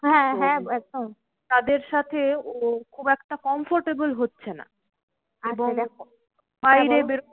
হ্যাঁ হ্যাঁ একদম তাদের সাথে ও খুব একটা comfortable হচ্ছে না।